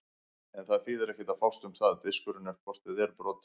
En það þýðir ekkert að fást um það, diskurinn er hvort eð er brotinn.